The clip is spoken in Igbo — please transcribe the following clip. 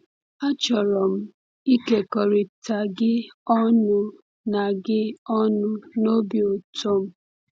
“Achọrọ m ịkekọrịta gị ọṅụ na gị ọṅụ na obi ụtọ m.